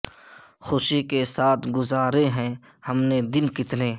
خوشی کے ساتھ گذارے ہیں ہم نے دن کتنے